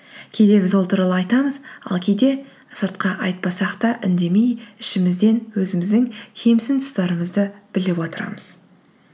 кейде біз ол туралы айтамыз ал кейде сыртқа айтпасақ та үндемей ішімізден өзіміздің кемсін тұстарымызды біліп отырамыз